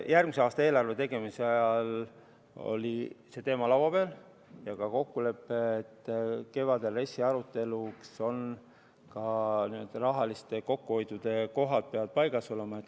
Järgmise aasta eelarve tegemise ajal oli see teema arutusel ja sõlmiti ka kokkulepe, et kevadiseks RES-i aruteluks peavad rahalised kokkuhoiukohad paigas olema.